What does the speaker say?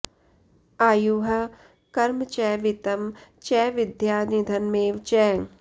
आयुः कर्म च वित्तं च विद्या निधनमेव च